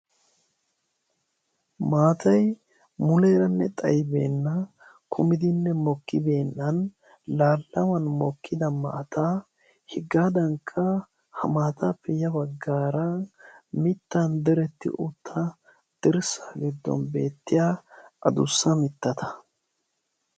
Maatay muleeranne xayibeenna kumidinne mokkibeennan laallaman mokkida maataa hegaadankka ha maataappe ya baggaara mittan dirtti utta dirssa giddon beettiya adussa mittata.